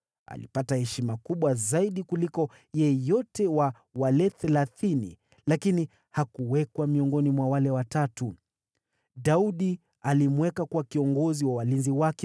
Yeye aliheshimiwa zaidi ya wale Thelathini, lakini hakujumuishwa miongoni mwa wale Watatu. Daudi akamweka kuwa kiongozi wa walinzi wake.